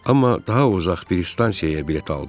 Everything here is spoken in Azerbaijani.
Amma daha uzaq bir stansiyaya bilet aldım.